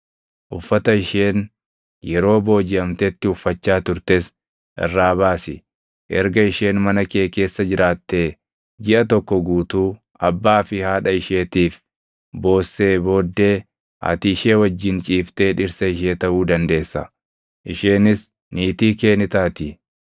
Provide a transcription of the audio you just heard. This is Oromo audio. uffata isheen yeroo boojiʼamtetti uffachaa turtes irraa baasi. Erga isheen mana kee keessa jiraattee jiʼa tokko guutuu abbaa fi haadha isheetiif boossee booddee ati ishee wajjin ciiftee dhirsa ishee taʼuu dandeessa; isheenis niitii kee ni taati.